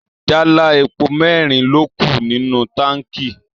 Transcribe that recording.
Jálá epo merin ló kù nínú táǹkì.